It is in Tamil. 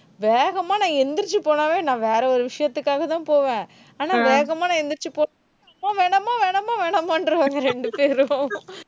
வேகமா நான் எந்திரிச்சு போனாலே, நான் வேற ஒரு விஷயத்துக்காகதான் போவேன். ஆனா வேகமா நான் எந்திரிச்சு போன வேணாமா, வேணாமா வேணாமான்றுவாங்க ரெண்டு பேரும்